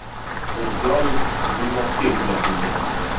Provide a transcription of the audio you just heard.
Mirziyoyev zimmasiga yuklatilgan.